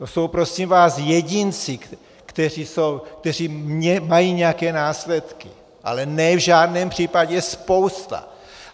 To jsou prosím vás jedinci, kteří mají nějaké následky, ale ne v žádném případě spousta.